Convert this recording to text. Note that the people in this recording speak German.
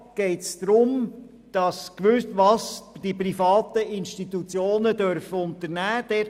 Buchstabe a geht es darum, was die privaten Institutionen unternehmen dürfen.